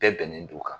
Bɛɛ bɛnnen don kan